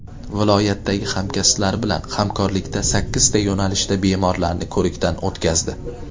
Viloyatdagi hamkasblari bilan hamkorlikda sakkizta yo‘nalishda bemorlarni ko‘rikdan o‘tkazdi.